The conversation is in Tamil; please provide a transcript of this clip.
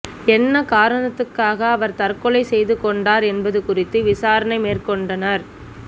என்ன காரணத்துக்காக அவர் தற்கொலை செய்து கொண்டார் என்பது குறித்து விசாரணை மேற்கொண்டனர்